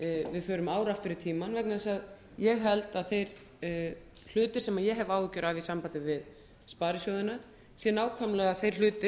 við förum ár aftur í tímann vegna þess að ég held að þeir hlutir sem ég hef áhyggjur af í sambandi við sparisjóðina séu nákvæmlega þeir hlutir